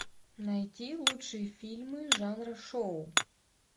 найти лучшие фильмы жанра шоу